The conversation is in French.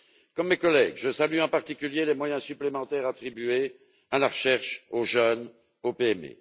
Comme mes collègues, je salue en particulier les moyens supplémentaires attribués à la recherche, aux jeunes, aux PME.